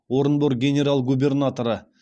орынбор генерал губернаторы